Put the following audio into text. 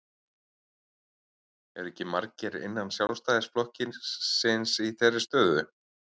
Eru ekki margir innan Sjálfstæðisflokksins í þeirri stöðu?